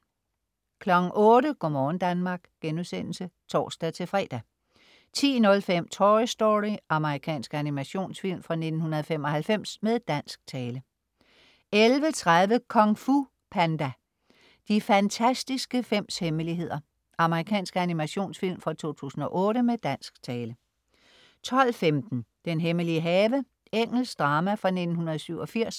08.00 Go' morgen Danmark* (tors-fre) 10.05 Toy Story. Amerikansk animationsfilm fra 1995, med dansk tale 11.30 Kung Fu Panda: De fantastiske fems hemmeligheder. Amerikansk animationsfilm fra 2008, med dansk tale 12.15 Den hemmelige have. Engelsk drama fra 1987